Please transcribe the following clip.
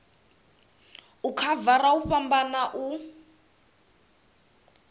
u khavara hu fhambana u